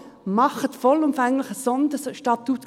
Also: Machen Sie vollumfänglich ein Sonderstatutsgesetz.